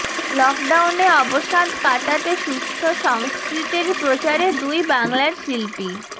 লকডাউনে অবসাদ কাটাতে সুস্থ সংস্কৃতির প্রচারে দুই বাংলার শিল্পী